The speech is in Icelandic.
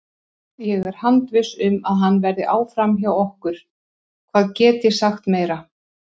Vanræksla getur verið með ýmsu móti, almenn, líkamleg, sálræn eða andleg og ekki síst tilfinningaleg.